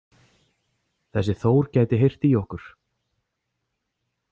Þessi Þór gæti heyrt í okkur